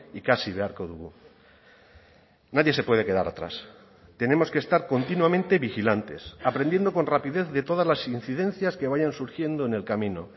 ikasi beharko dugu nadie se puede quedar atrás tenemos que estar continuamente vigilantes aprendiendo con rapidez de todas las incidencias que vayan surgiendo en el camino